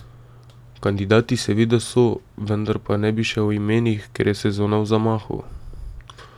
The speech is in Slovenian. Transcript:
Kandidati seveda so, vendar pa ne bi še o imenih, ker je sezona v zamahu.